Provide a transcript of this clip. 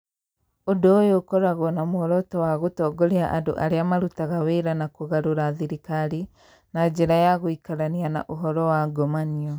Ũndũ ũyũ ũkoragwo na muoroto wa gũtongoria andũ arĩa marutaga wĩra wa kũgarũra thirikari na njĩra ya gũikarania na ũhoro wa ngomanio.